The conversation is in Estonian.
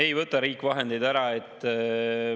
Ei võta riik vahendeid ära.